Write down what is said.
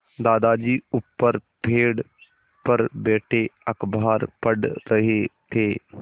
दादाजी ऊपर पेड़ पर बैठे अखबार पढ़ रहे थे